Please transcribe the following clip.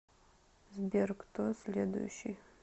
сбер кто следующий